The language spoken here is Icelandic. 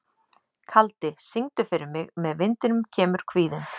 Kaldi, syngdu fyrir mig „Með vindinum kemur kvíðinn“.